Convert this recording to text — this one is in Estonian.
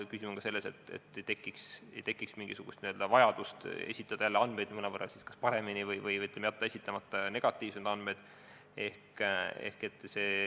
Küsimus on ka selles, et ei tekiks mingisugust vajadust esitada jälle andmeid kas mõnevõrra paremini või jätta negatiivsed andmed esitamata.